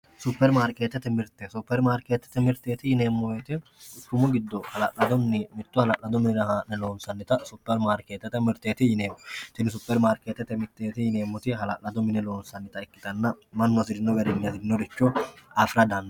Superimaarketete mirte, superimaarketete mirte yineemmo woyte quchumu giddo mitto hala'lado mine haa'ne loonsannitta superimaarketete mirteti yineemmo ,superimaarketete mirteti yineemmoti hala'lado base adhine loonsannitta mannu hasirinoricho hasirino garinni afiranotta.